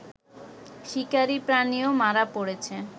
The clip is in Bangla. শিকারী প্রাণীও মারা পড়েছে